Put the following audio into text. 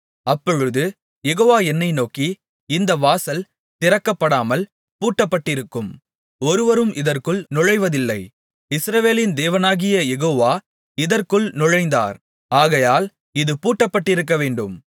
அப்பொழுது யெகோவா என்னை நோக்கி இந்த வாசல் திறக்கப்படாமல் பூட்டப்பட்டிருக்கும் ஒருவரும் இதற்குள் நுழைவதில்லை இஸ்ரவேலின் தேவனாகிய யெகோவா இதற்குள் நுழைந்தார் ஆகையால் இது பூட்டப்பட்டிருக்கவேண்டும்